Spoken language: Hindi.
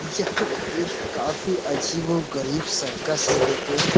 यहाँ एक काफी अजीबो गरीब सर्कस है देखो।